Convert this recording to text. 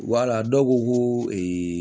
Wala dɔw ko ko